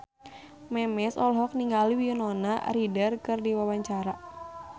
Memes olohok ningali Winona Ryder keur diwawancara